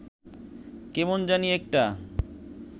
কেমন জানি একটা